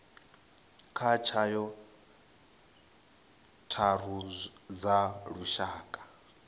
kha tswayo tharu dza lushaka